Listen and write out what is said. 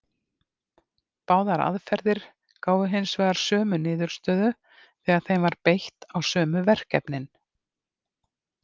Báðar aðferðir gáfu hins vegar sömu niðurstöður þegar þeim var beitt á sömu verkefnin.